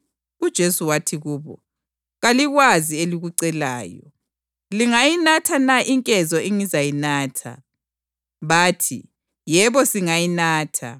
UJesu wathi kubo, “Kalikwazi elikucelayo. Lingayinatha na inkezo engizayinatha?” Bathi, “Yebo singayinatha.”